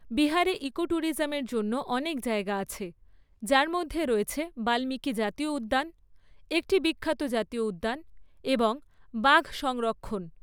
বিহারে ইকোট্যুরিজমের জন্য অনেক জায়গা আছে, যার মধ্যে রয়েছে বাল্মীকি জাতীয় উদ্যান, একটি বিখ্যাত জাতীয় উদ্যান এবং বাঘ সংরক্ষণ।